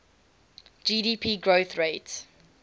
gdp growth rate